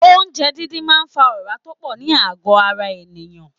Oúnjẹ díndín máa ń fa ora tó pọ̀ ní àgọ ara ènìyàn.